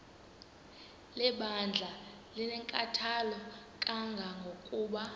lebandla linenkathalo kangangokuba